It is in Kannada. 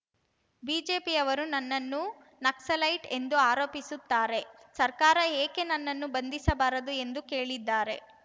ಬಿಜೆಪಿಯವರು ನನ್ನನ್ನು ನಕ್ಸಲೈಟ್‌ ಎಂದು ಆರೋಪಿಸುತ್ತಾರೆ ಸರ್ಕಾರ ಏಕೆ ನನ್ನನ್ನು ಬಂಧಿಸಬಾರದು ಎಂದು ಕೇಳಿದ್ದಾರೆ